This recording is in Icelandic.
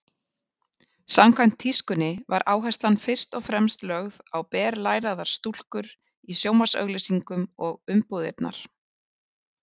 Samkvæmt tískunni var áherslan fyrst og fremst lögð á berlæraðar stúlkur í sjónvarpsauglýsingum og umbúðirnar.